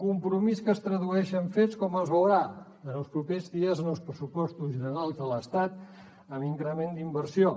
compromís que es tradueix en fets com es veurà en els propers dies en els pressupostos generals de l’estat amb increment d’inversió